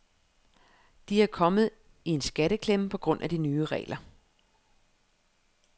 De er kommet i en skatteklemme på grund af de nye regler.